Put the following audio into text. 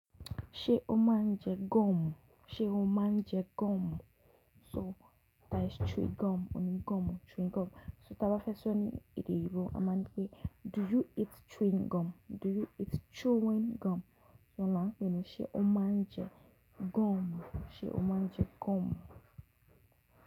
Ṣé o máa ń jẹ gọ́ọ̀mù? Sé o máa ń jẹ gọ́ọ̀mù? So that is chewing gum. Ò ní gọ́ọ̀mù, chewing gum. So tí a bá fẹ́ sọ ní èdè eyinbo a máa ńi pé do you eat chewing gum? Do you eat chewing gum? So oun lan pé ni ṣé o máa ń jẹ gọ́ọ̀mù? Ṣé o máa ń jẹ gọ́ọ̀mù?